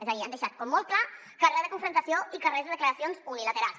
és a dir han deixat com molt clar que re de confrontació i que res de declaracions unilaterals